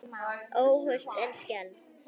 Óhult en skelfd.